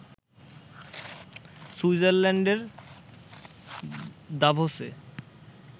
সুইটজারল্যান্ডের দাভোসে